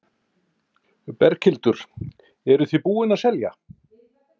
Berghildur: Eruð þið búin að selja?